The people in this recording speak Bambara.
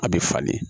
A bɛ falen